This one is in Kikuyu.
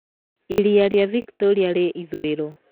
Iria rĩa Victoria rĩ ithũĩro.